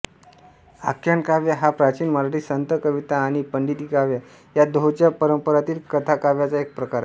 आख्यानकाव्य हा प्राचीन मराठी संतकविता आणि पंडिती काव्य या दोहोंच्या परंपरांतील कथाकाव्याचा एक प्रकार आहे